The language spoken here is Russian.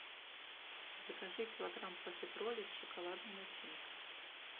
закажи килограмм профитролей с шоколадной начинкой